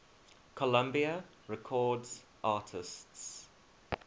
columbia records artists